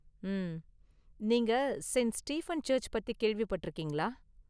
உம்.. நீங்க saint Stephen church பத்தி கேள்விபட்டிருக்கீங்களா?